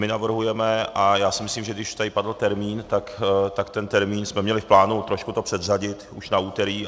My navrhujeme, a já si myslím, že když tady padl termín, tak ten termín jsme měli v plánu trošku to předřadit už na úterý.